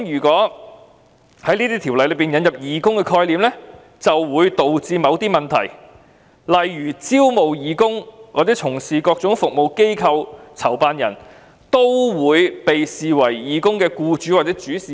在條例引入'義工'概念，或會導致某些問題，例如招募義工從事各種服務的機構或籌辦人，會否被視為義工的'僱主'或'主事人'"。